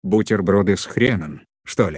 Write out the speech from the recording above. бутерброды с хреном что ли